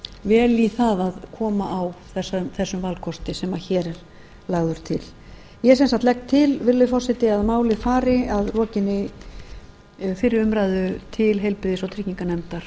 vel í það að koma á þessum valkosti sem hér er lagður til ég sem sagt legg til virðulegi forseti að málið fari að lokinni fyrri umræðu til heilbrigðis og trygginganefndar